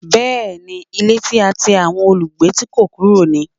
Bẹ́ẹ̀ni, ilé tí a ti àwọn olùgbé tí kó kúrò ni.